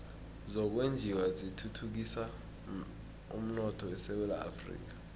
zokwenjiwa zithuthukisa umnotho esewula afrika